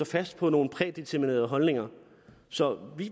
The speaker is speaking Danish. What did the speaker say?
fast på nogle prædeterminerede holdninger så